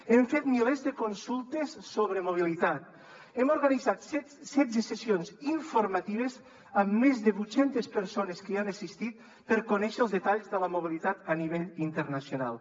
hem fet milers de consultes sobre mobilitat hem organitzat setze sessions informatives amb més de vuit cents persones que hi han assistit per conèixer els detalls de la mobilitat a nivell internacional